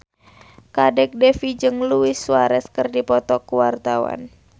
Kadek Devi jeung Luis Suarez keur dipoto ku wartawan